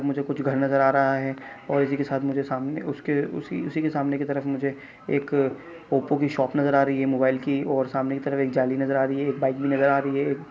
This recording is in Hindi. मुझे कुछ घर नज़र आ रहा हैं और इसी के साथ मुझे सामने उसके उसी-उसी के सामने की तरफ मुझे एक ओप्पो की शॉप नज़र आ रही हैं मोबाइल की और सामने की तरफ एक जाली नज़र आ रही हैं एक बाइक भी नज़र आ रही हैं।